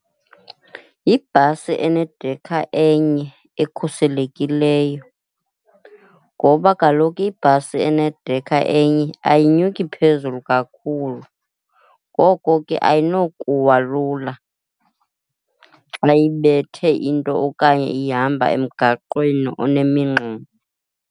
Yibhasi enedekha enye ekhuselekileyo. Ngoba kaloku ibhasi enedekha enye ayinyuki phezulu kakhulu, ngoko ke ayinokuwa lula xa ibethe into okanye ihamba emgaqweni onemingxuma.